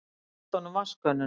Hún rétti honum vatnskönnuna.